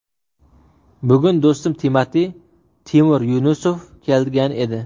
Bugun do‘stim Timati − Timur Yunusov kelgan edi.